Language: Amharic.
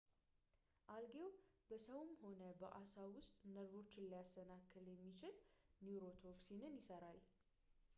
አልጌው በሰውም ሆነ በአሳ ውስጥ ነርቮችን ሊያሰናክል የሚችል ኒውሮቶክሲን ይሠራል